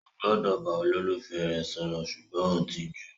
O gbọdọ bá olólùfẹ́ rẹ sọ̀rọ̀ sùgbọ́n o n tijú?